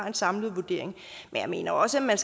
en samlet vurdering men jeg mener også at